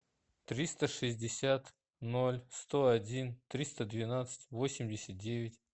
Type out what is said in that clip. триста шестьдесят ноль сто один триста двенадцать восемьдесят девять